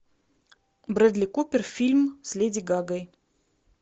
брэдли купер фильм с леди гагой